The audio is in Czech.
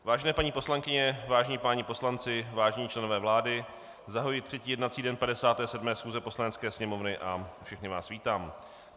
Vážené paní poslankyně, vážení páni poslanci, vážení členové vlády, zahajuji třetí jednací den 57. schůze Poslanecké sněmovny a všechny vás vítám.